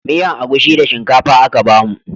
Miyan agushi da shinkafa aka bamu